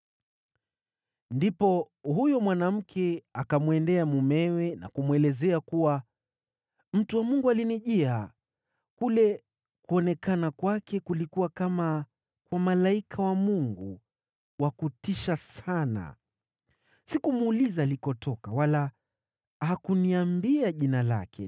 Ndipo huyo mwanamke akamwendea mumewe na kumweleza kuwa, “Mtu wa Mungu alinijia. Kule kuonekana kwake kulikuwa kama kwa malaika wa Mungu, wa kutisha sana. Sikumuuliza alikotoka wala hakuniambia jina lake.